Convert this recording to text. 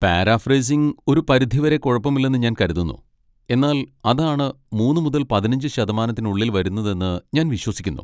Paraphrasing ഒരു പരിധി വരെ കുഴപ്പമില്ലെന്ന് ഞാൻ കരുതുന്നു, എന്നാൽ അതാണ് മൂന്നു മുതൽ പതിനഞ്ച് ശതമാനത്തിനുള്ളിൽ വരുന്നതെന്ന് ഞാൻ വിശ്വസിക്കുന്നു.